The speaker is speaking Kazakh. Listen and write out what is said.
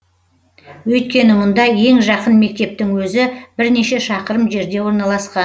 өйткені мұнда ең жақын мектептің өзі бірнеше шақырым жерде орналасқан